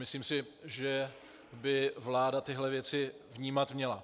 Myslím si, že by vláda tyto věci vnímat měla.